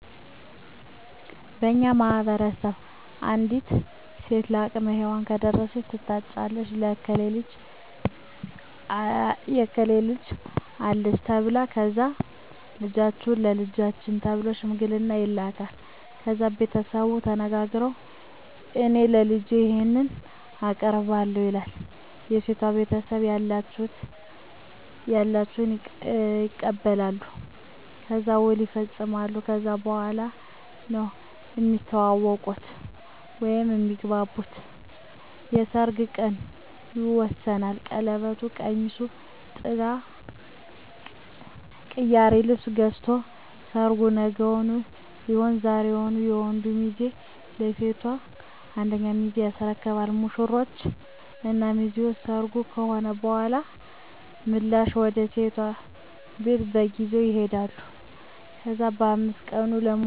በእኛ ማህበረሰብ አንዲት ሴት ለአቅመ ሄዋን ከደረሰች ትታጫለች የእከሌ ልጅ አለች ተብላ ከዛ ልጃችሁን ለልጃችን ተብሎ ሽምግልና ይላካል። ከዛ ቤተሰቡ ተነጋግረዉ እኔ ለልጄ ይሄን አቀርባለሁ ይላል የሴቷ ቤተሰብም ያላቸዉን ያቀርባሉ። ከዛ ዉል ይፃፃፋሉ ከዛ በኋላ ነዉ እሚተዋወቁት (እሚግባቡት) የሰርጉ ቀን ይወሰናል ቀለበቱ፣ ቀሚሱ፣ ጥላ፣ ቅያሪ ልብስ ገዝቶ ሰርጉ ነገዉን ሊሆን ዛሬዉን የወንዱ ሚዜ ለሴቷ አንደኛ ሚዜ ያስረክባሉ። ሙሽሮች እና ሚዜዎች ሰርጉ ከሆነ በኋላ ምላሽ ወደ ሴቷ ቤት በግ ይዘዉ ይሄዳሉ። ከዛ በ5 ቀኑ ለሙሽሮች ስም ይወጣላቸዋል እነሱም እርስበርሳቸዉ ስም ይወጣጣሉ።